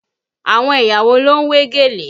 Àwọn ẹ̀yà wo ló ń wé gèlè?